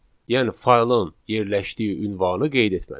Yəni faylın yerləşdiyi ünvanı qeyd etmədik.